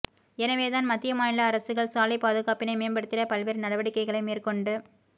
எனவே தான் மத்திய மாநில அரசுகள் சாலைப் பாதுகாப்பினை மேம்படுத்திட பல்வேறு நடவடிக்கைகளை மேற்கொண்டு